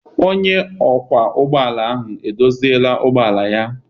Onye ọkwọ ụgbọala ahụ e doziela ụgbọala ya?